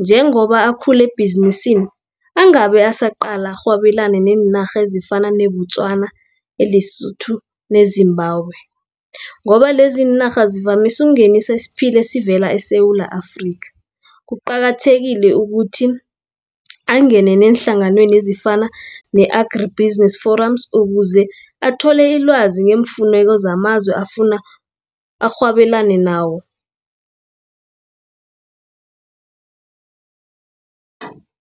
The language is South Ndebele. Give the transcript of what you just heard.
Njengoba akhule ebhizinisini angabe asaqala arhwabelane neenarha ezifana ne-Botswana, e-Lesotho, ne-Zimbabwe, ngoba leziinarha zivamisu ukungenisa isiphila esivela eSewula Afrika. Kuqakathekile ukuthi angene neenhlanganweni ezifana ne-Agri Business Forums ukuze athole ilwazi ngeemfuneko zamazwe afuna arhwabelani nawo.